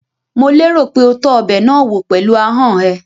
Mò lérò pé o tọ́ ọbẹ̀ náà wò pẹ̀lú ahọ́n ẹ?